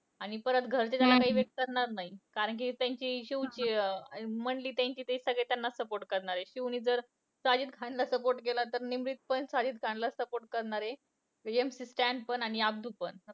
आणि परत घरचे तर त्याला evict करणार नाही. कारण कि त्यांची शिवची अं मंडली त्यांची ते सगळे त्यांना support करणार आहे. शिवने जर साजिद खानला support केला, तर निमरीत पण साजिद खानला चं support करणार आहे. MC स्टॅन पण आणि अब्दू पण.